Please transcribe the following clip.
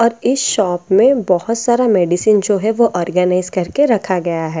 और इस शॉप में बहुत सारा मेडिसन जो है वो ऑर्गनाइस करके रखा गया है --